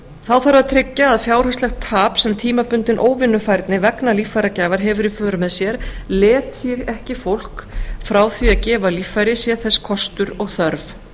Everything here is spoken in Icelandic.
þá þarf að tryggja að fjárhagslegt tap sem tímabundin óvinnufærni vegna líffæragjafar hefur í för með sér letji ekki fólk frá því að gefa líffæri sé þess kostur og þörf